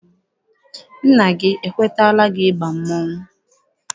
Nna gị ekwetala gị ịbanye mmọnwụ?